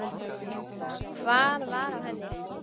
Hvað var á henni?